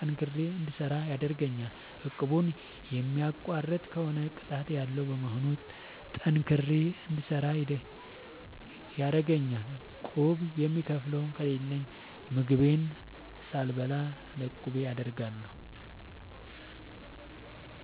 ጠንክሬ እንድሰራ ያደርገኛል። እቁቡን የሚቋርጥ ከሆነ ቅጣት ያለዉ በመሆኑ ጠንክሬ እንድሰራ ይረደኛል። ቁብ የምከፍለው ከሌለኝ ምግቤን ሳልበላ ለቁቤ አደርጋለሁ።